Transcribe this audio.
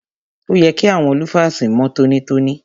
Òye kí àwọn lúfàsì mọ́ tọ́nítọ́ní.